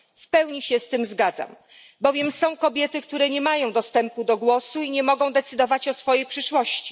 Całkowicie się z tym zgadzam, bowiem są kobiety, które nie mają głosu i nie mogą decydować o swojej przyszłości.